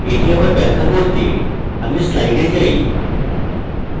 এটি আবার ব্যাখ্যা করতে আমি slides যাই